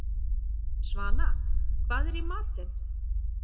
Svana, hvað er í matinn?